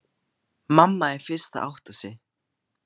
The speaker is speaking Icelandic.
Mamma er fyrst að átta sig: